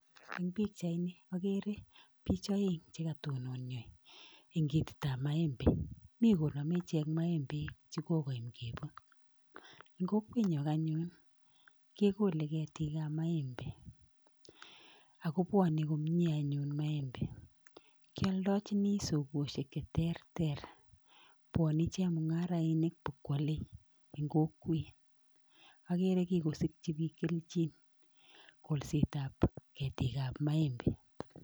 Eng pikchaini akere bich oeng chekatononyo eng ketitap maembe mi konome ichek maembek chekokoyam keput. Eng kokwenyo anyun kekole ketikap maembe akobwone komie anyun [sc]maembe[sc], kyoldochini sokoshek cheterter, bwone chemung'arainik bokwole eng kokwet akere kikosikchi biik kelchin, kolsetap ketikap maembe[sc].